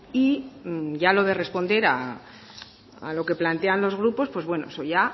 y ya lo de responder a lo que plantean los grupos pues bueno eso ya